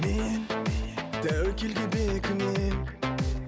мен тәуекелге бекінемін